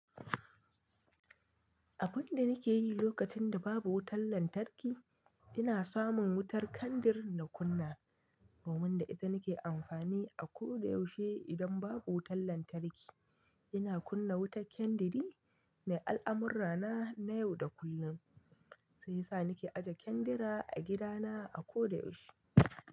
Abun da nake yi lokacin da babu wutar lantarki, ina samun wutar kandir na kunna, domin da ita nake amfani a ko da yaushe idan babu wutar lantarki. Ina kunna wutar kandiri mai al'amurra na, na yau da kullum, sai yasa nake aje kandira a gidana a ko da yaushe.